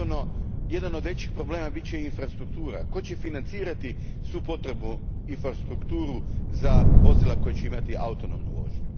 Naravno, jedan od većih problema bit će infrastruktura. Tko će financirati svu potrebnu infrastrukturu za vozila koja će imati autonomnu vožnju?